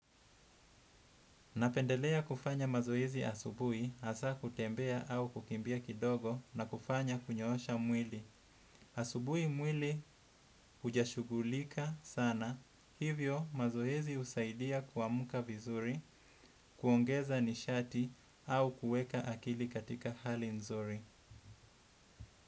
Napendelea kufanya mazoezi asubuhi, hasaa kutembea au kukimbia kidogo na kufanya kunyoosha mwili. Asubuhi mwili hujashughulika sana, hivyo mazoezi husaidia kuamka vizuri, kuongeza nishati au kueka akili katika hali nzuri.